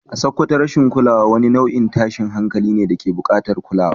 A Sakkwato rashin kulawa wani nau’in tashin hankalin ne da ke bukatar kulawa.